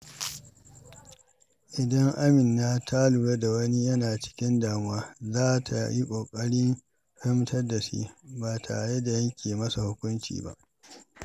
Idan Amina ta lura wani yana cikin damuwa, za ta yi ƙoƙarin fahimtarsa ba tare da yanke masa hukunci ba.